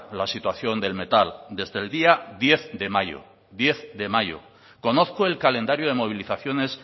la situación del metal desde el día diez de mayo diez de mayo conozco el calendario de movilizaciones